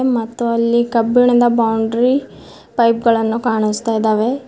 ಮತ್ತು ಅಲ್ಲಿ ಕಬ್ಬಿಣದ ಬೌಂಡ್ರಿ ಪೈಪ್ ಗಳನ್ನು ಕಾಣಿಸ್ತಾ ಇದಾವೆ.